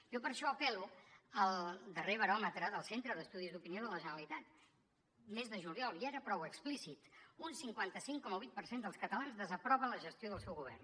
jo per això apel·lo al darrer baròmetre del centre d’estudis d’opinió de la generalitat mes de juliol ja era prou explícit un cinquanta cinc coma vuit per cent dels catalans desaprova la gestió del seu govern